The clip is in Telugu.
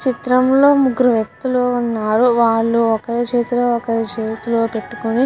చిత్రం లో ముగురు వ్యక్తులు ఉన్నారు వాళ్ళు ఒకరి చేతులో ఒకరు చేతులో పెట్టుకొని --